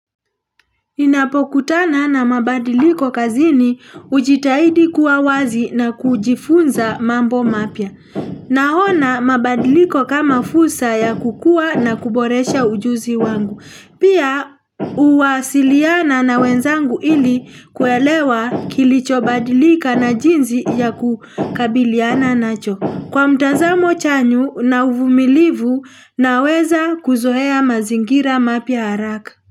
Ninapokutana na mabadiliko kazini ujitahidi kuwa wazi na kujifunza mambo mapya. Nahona mabadiliko kama fusa ya kukua na kuboresha ujuzi wangu. Pia uwasiliana na wenzangu ili kuelewa kilicho badilika na jinzi ya kukabiliana nacho. Kwa mtazamo chanyu na uvumilivu na weza kuzoea mazingira mapya haraka.